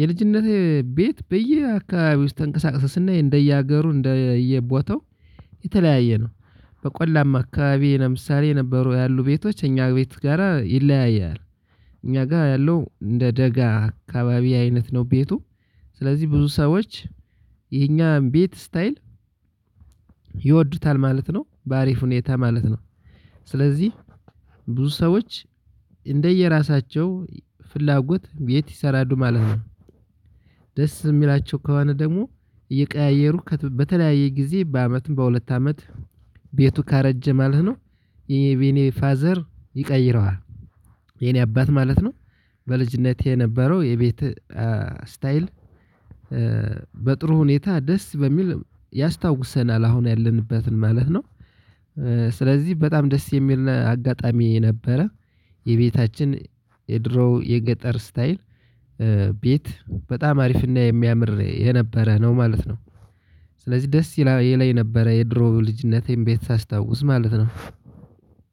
የልጅነቴ ቤት በየአካባቢ ውስጥ ተንቀሳቀሰ ስናይ እንደየ ሀገሩ እንደየቦታው የተለያየ ነው። በቆላማ አካባቢ ለምሳሌ የነበሩ ያሉ ቤቶች የእኛ ቤት ጋራ ይለያያል። እኛጋ የለው እንደ ደጋ አከባቢ አይነት ነው ቤቱ ስለዚህ ብዙ ሰዎች የኛን ቤት ስታይል ይወዱታል ማለት ነው በአሪፍ ሁኔታ ማለት ነው ስለዚህ ብዙ ሰዎች እንደየራሳቸው ፍላጎት ቤት ይሰራሉ ማለት ነው። ደስ የሚላቸው ከሆና ደግሞ እየቀያየሩ በተለያየ ጊዜ በአመትም በሁለት አመት ቤቱ ካረጀ ማለት ነው ይሄ በኔ ፋዘር ይቀይረዋል የኔ አባት ማለት ነው። በልጅነቴ የነበረው የቤት ስታይል በጥሩ ሁኔታ ደስ በሚል ያስታውሰናል አሁን ያለንበትን ማለት ነው። ስለዚህ በጣም ደስ የሚልና አጋጣሚ የነበረ የቤታችን የድሮ የገጠር ስታይል ቤት በጣም አሪፍና የሚያምር የነበረ ነው ማለት ነው። ስለዚህ ደስ ይለኝ የነበረ የድሮ የልጅነቴን ቤት ሳስታውስ ማለት ነው።